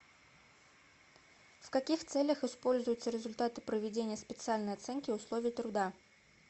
в каких целях используются результаты проведения специальной оценки условий труда